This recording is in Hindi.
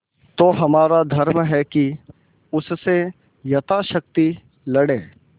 तो हमारा धर्म है कि उससे यथाशक्ति लड़ें